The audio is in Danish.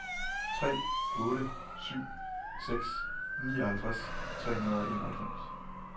tre otte syv seks nioghalvtreds tre hundrede og enoghalvfems